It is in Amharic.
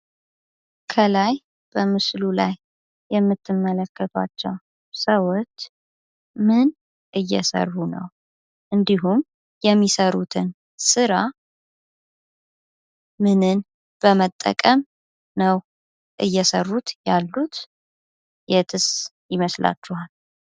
ከላይ በምስሉ ላይ የምትመለከቷቸው ሰዎች ምን እየሰሩ ነው ? እንዲሁም የሚሰሩትን ስራ ምንን በመጠቀም ነው እየሰሩት ያሉት የትስ ይመስላችኋል?